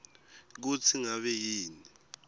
kutsi ngabe yini